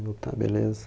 Eu tá, beleza.